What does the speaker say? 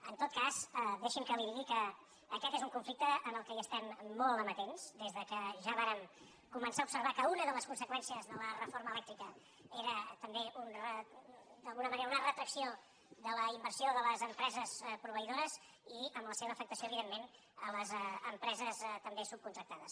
en tot cas deixi’m que li di·gui que aquest és un conflicte en el qual estem molt amatents des que ja vàrem començar a observar que una de les conseqüències de la reforma elèctrica era també d’alguna manera una retracció de la inversió de les empreses proveïdores i amb la seva afectació evidentment a les empreses també subcontractades